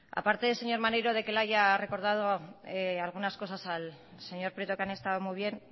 aparte de señor maneiro le haya recordado algunas cosas al señor prieto que han estado muy bien